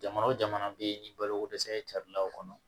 Jamana o jamana jamana bɛ ni balokodɛsɛ carilaw kɔnɔ